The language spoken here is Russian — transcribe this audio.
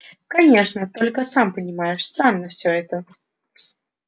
конечно только сам понимаешь странно все это